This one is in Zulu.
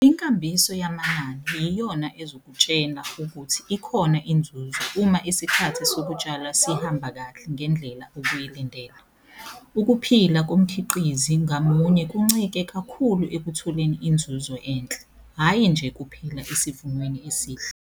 Inkambiso yamanani yiyona ezokutshela ukuthi ikhona inzuzo uma isikhathi sokutshala sihamba kahle ngendlela obuyilindele. Ukuphila komkhiqizi ngamunye kuncike kakhulu ekutholeni inzuzo enhle, hhayi nje kuphela esivunweni esihle.